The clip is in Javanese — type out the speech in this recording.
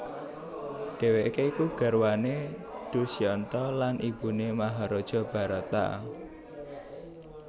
Dhèwèké iku garwané Dusyanta lan ibuné Maharaja Bharata